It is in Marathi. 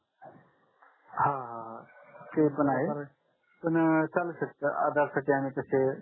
हा हा हा ते पण आहे पण चालू शकत आधार साठी